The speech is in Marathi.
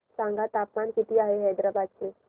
सांगा तापमान किती आहे हैदराबाद चे